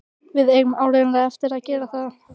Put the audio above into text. Við eigum áreiðanlega eftir að gera það.